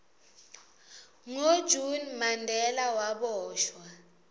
ngo june mandela waboshwa